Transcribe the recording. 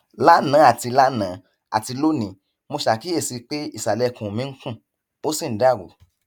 lánàá àti lánàá àti lónìí mo ṣe àkíyèsí pé ìsàlẹ ikùn mi ń kùn ó sì ń dàrú